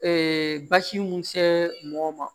basi mun se mɔgɔ ma